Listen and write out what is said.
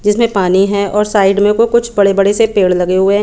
जिसमे पानी है और साइड में भी बड़े बड़े से पेड़ लगे हुए है।